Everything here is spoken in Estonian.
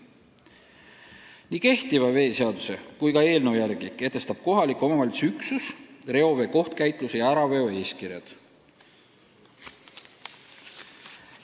Nii kehtiva veeseaduse kui ka eelnõu järgi kehtestab kohaliku omavalitsuse üksus reovee kohtkäitluse ja äraveo eeskirja.